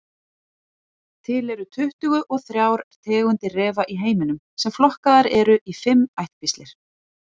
Til eru tuttugu og þrjár tegundir refa í heiminum sem flokkaðar eru í fimm ættkvíslir.